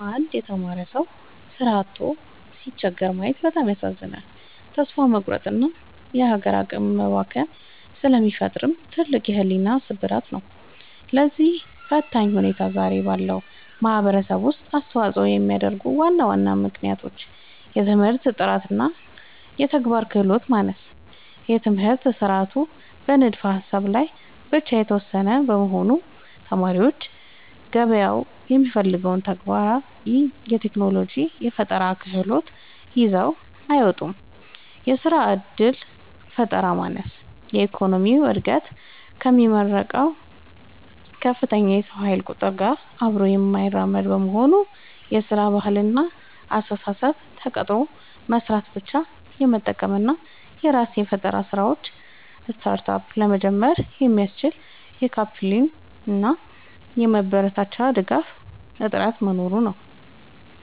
አንድ የተማረ ሰው ሥራ አጥቶ ሲቸገር ማየት በጣም ያሳዝናል፤ ተስፋ መቁረጥንና የሀገር አቅም መባከንን ስለሚፈጥር ትልቅ የሕሊና ስብራት ነው። ለዚህ ፈታኝ ሁኔታ ዛሬ ባለው ማኅበረሰብ ውስጥ አስተዋፅኦ የሚያደርጉ ዋና ዋና ምክንያቶች፦ የትምህርት ጥራትና የተግባር ክህሎት ማነስ፦ የትምህርት ሥርዓቱ በንድፈ-ሀሳብ ላይ ብቻ የተመሰረተ በመሆኑ፣ ተማሪዎች ገበያው የሚፈልገውን ተግባራዊ የቴክኖሎጂና የፈጠራ ክህሎት ይዘው አይወጡም። የሥራ ዕድል ፈጠራ ማነስ፦ የኢኮኖሚው ዕድገት ከሚመረቀው ከፍተኛ የሰው ኃይል ቁጥር ጋር አብሮ የማይራመድ መሆኑ። የሥራ ባህልና አስተሳሰብ፦ ተቀጥሮ መሥራትን ብቻ የመጠበቅ እና የራስን የፈጠራ ሥራዎች (Startup) ለመጀመር የሚያስችል የካፒታልና የማበረታቻ ድጋፍ እጥረት መኖሩ ነው።